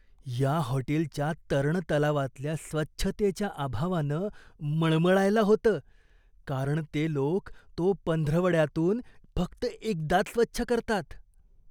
या हॉटेलच्या तरण तलावातल्या स्वच्छतेच्या अभावानं मळमळायला होतं, कारण ते लोक तो पंधरवड्यातून फक्त एकदाच स्वच्छ करतात.